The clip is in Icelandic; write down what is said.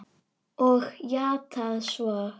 Og játað svo.